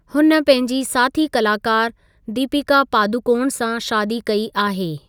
हुन पंहिंजी साथी कलाकार दीपिका पादुकोण सां शादी कई आहे।